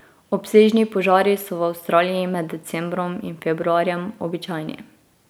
Obsežni požari so v Avstraliji med decembrom in februarjem običajni.